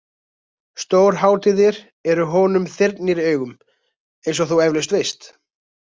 Stórhátíðir eru honum þyrnir í augum eins og þú eflaust veist.